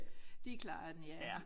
De klarede den ja